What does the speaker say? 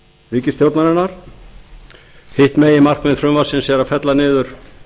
ríkisstjórnarinnar hitt meginmarkmiðið er að fella niður